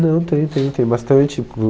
Não, tem, tem, tem bastante.